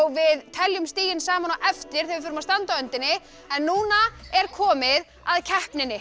við teljum stigin saman á eftir þegar við förum að standa á öndinni en núna er komið að keppninni